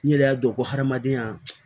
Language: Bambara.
N yɛrɛ y'a dɔn ko hadamadenya